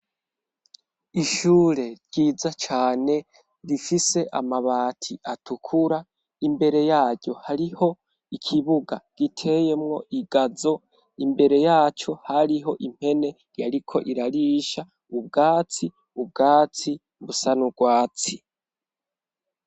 Ishure ryiza cane, rifise amabati atukura ,imbere yaryo hariho ikibuga giteyemwo igazo imbere yaco hariho impene yariko irarisha, ubwatsi, ubwatsi busa n'ugwatsi.